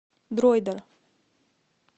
дроидер